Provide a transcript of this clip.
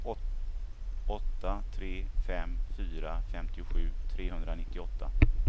åtta tre fem fyra femtiosju trehundranittioåtta